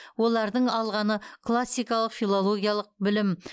олардың алғаны классикалық филологиялық білім